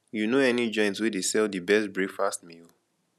you know any joint wey dey sell di best breakfast meal